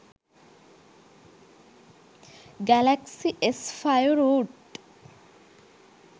galaxy s5 root